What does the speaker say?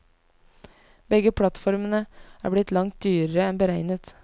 Begge plattformene er blitt langt dyrere enn beregnet.